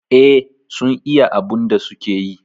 Eh sun iya abun da suke yi